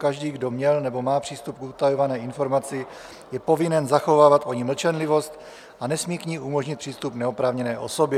Každý, kdo měl nebo má přístup k utajované informaci, je povinen zachovávat o ní mlčenlivost a nesmí k ní umožnit přístup neoprávněné osobě.